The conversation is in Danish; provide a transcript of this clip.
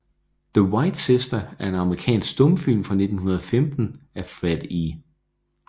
The White Sister er en amerikansk stumfilm fra 1915 af Fred E